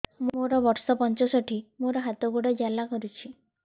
ମୋର ବର୍ଷ ପଞ୍ଚଷଠି ମୋର ହାତ ଗୋଡ଼ ଜାଲା କରୁଛି